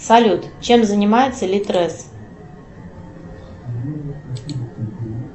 салют чем занимается литрес